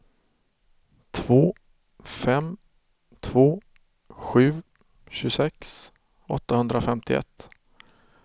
två fem två sju tjugosex åttahundrafemtioett